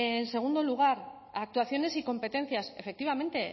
en segundo lugar actuaciones y competencias efectivamente